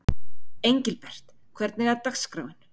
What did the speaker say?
Engilbert, hvernig er dagskráin?